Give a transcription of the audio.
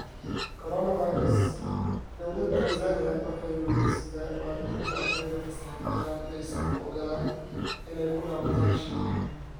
Coronavirus: Dowladda Tansaaniya waxay weydiisataa waalidiinta ardayda fasaxa ku jira inaysan u oggolaan inay ku laabtaan Shiinaha